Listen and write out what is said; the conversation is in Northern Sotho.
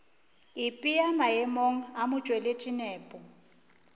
ipea maemong a motšweletši nepo